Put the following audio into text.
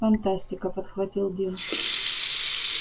фантастика подхватил дин